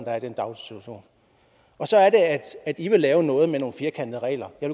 er i den daginstitution og så er det at i vil lave noget med nogle firkantede regler jeg